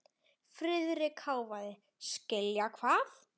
Friðrik hváði: Skilja hvað?